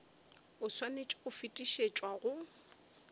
o swanetše go fetišetšwa go